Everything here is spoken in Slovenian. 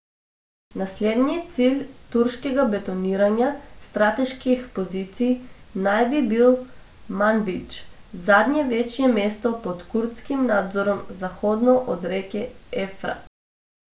Naslednji cilj turškega betoniranja strateških pozicij naj bi bil Manbidž, zadnje večje mesto pod kurdskim nadzorom zahodno od reke Evfrat.